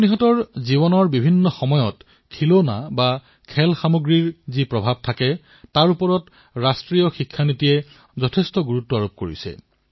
শিশুৰ জীৱনৰ ভিন্নভিন্ন পৰ্যায়ত খেলাসামগ্ৰীৰ যি প্ৰভাৱ পৰিলক্ষিত হয় তাৰ ওপৰত ৰাষ্ট্ৰীয় শিক্ষা নীতিতো গুৰুত্ব প্ৰদান কৰা হৈছে